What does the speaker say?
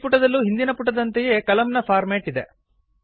ಈ ಪುಟದಲ್ಲೂ ಹಿಂದಿನ ಪುಟದಂತೆಯೇ ಕಲಮ್ ನ ಫಾರ್ಮ್ಯಾಟ್ ಇದೆ